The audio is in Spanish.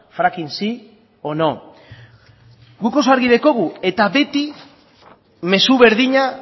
fracking sí o no guk oso argi de dekogu eta beti mezu berdina